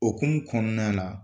O hukumu kɔnɔna na